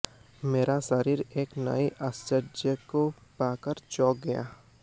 मेरा शरीर एक नए आश्चर्य को पाकर चौंक गया